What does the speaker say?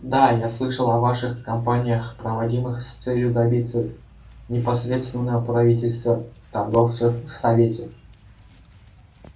да я слышал о ваших кампаниях проводимых с целью добиться непосредственного правительства торговцев в совете